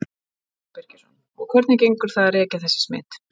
Símon Birgisson: Og hvernig gengur það að rekja þessi smit?